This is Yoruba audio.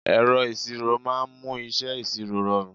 Ẹ̀rọ ìṣirò máa ń mú iṣẹ́ ìṣirò rọrùn.